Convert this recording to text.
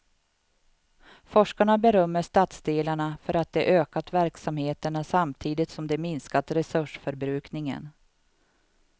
Forskarna berömmer stadsdelarna för att de ökat verksamheterna samtidigt som de minskat resursförbrukningen.